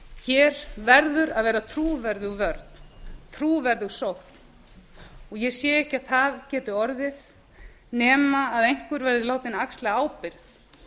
hér verður að vera trúverðug vörn trúverðug sókn og ég sé ekki að það geti orðið nema einhver verði látinn axla ábyrgð